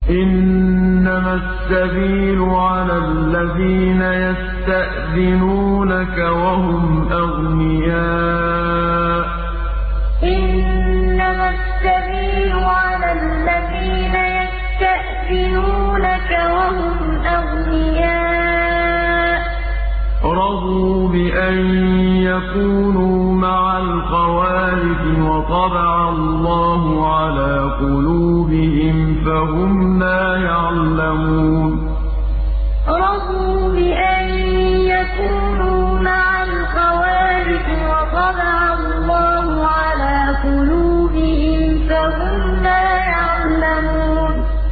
۞ إِنَّمَا السَّبِيلُ عَلَى الَّذِينَ يَسْتَأْذِنُونَكَ وَهُمْ أَغْنِيَاءُ ۚ رَضُوا بِأَن يَكُونُوا مَعَ الْخَوَالِفِ وَطَبَعَ اللَّهُ عَلَىٰ قُلُوبِهِمْ فَهُمْ لَا يَعْلَمُونَ ۞ إِنَّمَا السَّبِيلُ عَلَى الَّذِينَ يَسْتَأْذِنُونَكَ وَهُمْ أَغْنِيَاءُ ۚ رَضُوا بِأَن يَكُونُوا مَعَ الْخَوَالِفِ وَطَبَعَ اللَّهُ عَلَىٰ قُلُوبِهِمْ فَهُمْ لَا يَعْلَمُونَ